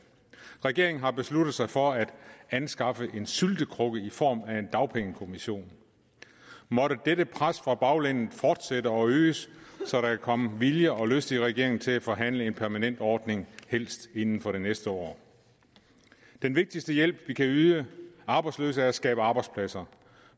regeringen har besluttet sig for at anskaffe en syltekrukke i form af en dagpengekommission måtte dette pres fra baglandet fortsætte og øges så der kan komme vilje og lyst i regeringen til at forhandle en permanent ordning helst inden for det næste år den vigtigste hjælp vi kan yde arbejdsløse er at skabe arbejdspladser